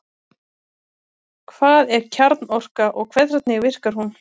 Hvað er kjarnorka og hvernig virkar hún?